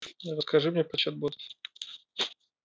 расскажи мне про чат бот